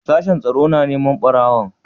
Sashen tsaro na neman ɓarawon?